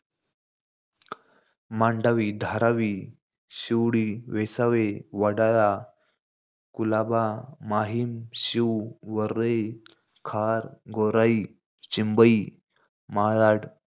Mandvi, Dharavi, Shivdi, Vesave, Wadala, Colaba, Mahim, Shiv, Worli, Khar, Gorai, Chimbai, Malad,